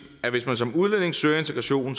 at hvis man som udlænding søger integration